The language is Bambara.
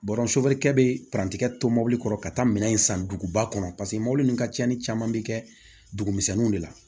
Bɔrɔ kɛ bɛ tɛrɛn to mobili kɔrɔ ka taa minɛn san duguba kɔnɔ paseke mobili ninnu ka cɛnni caman bɛ kɛ dugu misɛnninw de la